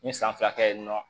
N ye san fila kɛ yen nɔ